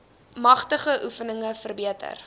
matige oefeninge verbeter